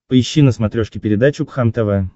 поищи на смотрешке передачу кхлм тв